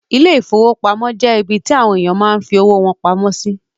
Ile-ìfowópamó jẹ ibì tí àwọn ènìyàn máa ń fí owó wọn pamọ́ sí